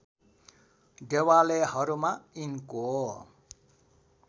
देवालयहरूमा यिनको